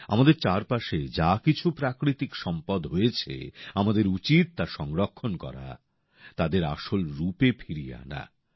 আমাদের চারপাশে যা কিছু প্রাকৃতিক সম্পদ হয়েছে আমাদের উচিত তা সংরক্ষণ করা তাদের আসল রূপে ফিরিয়ে আনা